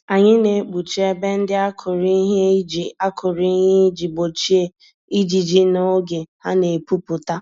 Anyị na-ekpuchi ebe ndị akụrụ ìhè iji akụrụ ìhè iji gbochie ijiji n'oge ha n'epu pụta